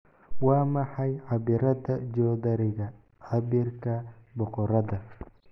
Waa maxay cabbirrada joodariga cabbirka boqoradda?